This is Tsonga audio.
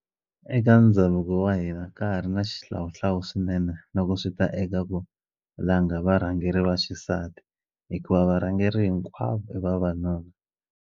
Eka ndhavuko wa hina ka ha ri na xihlawuhlawu swinene loko swi ta eka ku langa varhangeri va xisati hikuva varhangeri hinkwavo i vavanuna.